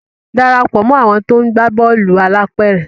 darapọ̀ mọ àwọn to ńgba Bọ́ọ̀lù alápéré!